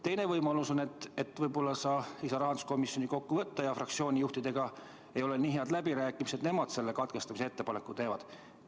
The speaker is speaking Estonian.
Teine võimalus on, et võib-olla sa ei saa rahanduskomisjoni kokku kutsuda ja fraktsiooni juhtidega ei ole nii head läbirääkimised, et nemad selle katkestamise ettepaneku teevad.